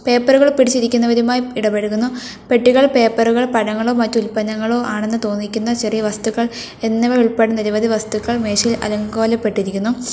പേപ്പറുകൾ പിടിച്ചിരിക്കുന്നവരുമായി ഇടപ്പഴക്കുന്നു പെട്ടികൾ പേപ്പറുകൾ മറ്റു ഉൽപ്പന്നങ്ങളും ആണെന്ന് തോന്നിക്കുന്ന ചെറിയ വസ്തുക്കൾ എന്നിവ ഉൾപ്പെടുന്ന നിരവധി വസ്തുക്കൾ മേശ അലങ്കോലപ്പെട്ടിരിക്കുന്നു.